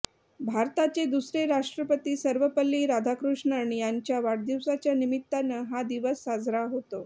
भारताचे दुसरे राष्ट्रपती सर्वपल्ली राधाकृष्णन यांच्या वाढदिवसाच्या निमित्तानं हा दिवस साजरा होतो